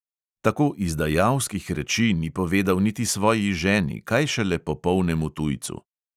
Tako izdajalskih reči ni povedal niti svoji ženi, kaj šele popolnemu tujcu.